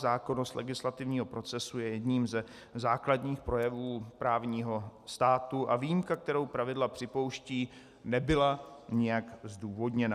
Zákonnost legislativního procesu je jedním ze základních projevů právního státu a výjimka, kterou pravidla připouštějí, nebyly nijak zdůvodněna.